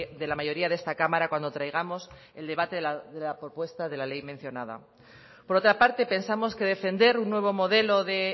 de la mayoría de esta cámara cuando traigamos el debate de la propuesta de la ley mencionada por otra parte pensamos que defender un nuevo modelo de